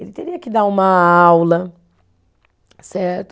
Ele teria que dar uma aula, certo?